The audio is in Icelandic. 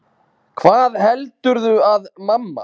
HVAÐ HELDURÐU AÐ MAMMA